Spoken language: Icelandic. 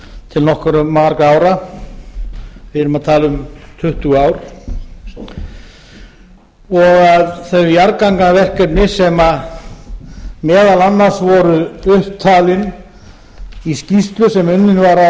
til nokkuð margra ára við erum að alla um tuttugu ár og að þau jarðgangaverkefni sem meðal annars voru upptalin í skýrslu sem unnin var á